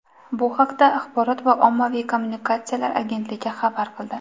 Bu haqda Axborot va ommaviy kommunikatsiyalar agentligi xabar qildi .